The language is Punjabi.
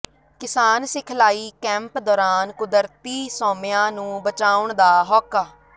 ਕਿਸਾਨ ਸਿਖਲਾਈ ਕੈਂਪ ਦੌਰਾਨ ਕੁਦਰਤੀ ਸੋਮਿਆਂ ਨੂੰ ਬਚਾਉਣ ਦਾ ਹੋਕਾ